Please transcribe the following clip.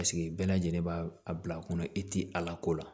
Paseke bɛɛ lajɛlen b'a a bila kunna i ti a lako la